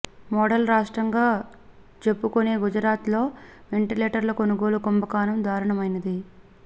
model రాష్ట్రం గా చెప్పుకొనే గుజరాత్ లో వెంటిలేటర్ల కొనుగోలులో కుంభకోణం దారుణమైనది